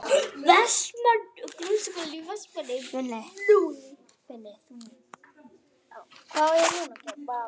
Rýnt í stjörnufræði á Akureyri